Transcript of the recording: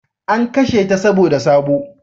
An kashe ta saboda sabo